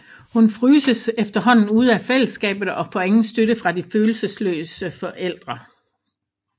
Hun fryses efterhånden ude af fællesskabet og får ingen støtte fra de følelsesløse forældre